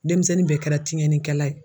Denmisɛnnin bɛɛ kɛra tiɲɛni kɛla ye.